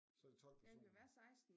Så er det 12 personer